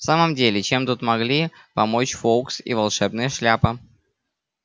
в самом деле чем тут могли помочь фоукс и волшебная шляпа